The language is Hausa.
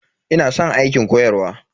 Ina san aikin koyarwa.